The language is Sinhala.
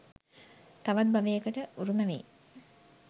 තවත් භවයකට උරුම වේ.